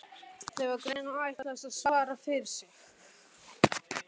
Það var greinilega ætlast til að hann svaraði fyrir sig.